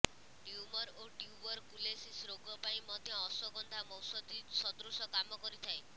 tumour ଓ tuberculosis ରୋଗ ପାଇଁ ମଧ୍ୟ ଅଶ୍ୱଗନ୍ଧା ମହୌଷଧି ସଦୃଶ କାମ କରିଥାଏ